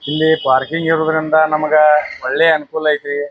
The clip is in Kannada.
ಇಲ್ಲಿ ಪಾರ್ಕಿಂಗ್ ಇರೋದ್ರಿಂದ ನಮಗ ಒಳ್ಳೆ ಅನುಕೂಲ ಐತಿ.